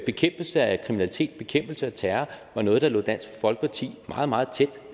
bekæmpelse af kriminalitet bekæmpelse af terror var noget der lå dansk folkeparti meget meget tæt